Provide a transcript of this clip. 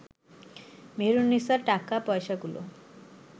মেহেরুননিসা টাকা পয়সাগুলো